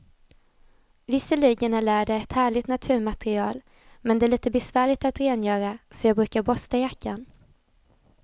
Visserligen är läder ett härligt naturmaterial, men det är lite besvärligt att rengöra, så jag brukar borsta jackan.